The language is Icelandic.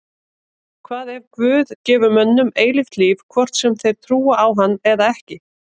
Hvað ef Guð gefur mönnum eilíft líf hvort sem þeir trúa á hann eða ekki?